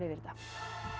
þetta